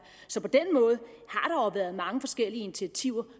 så på der jo været mange forskellige initiativer